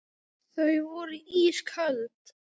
Þau voru ísköld.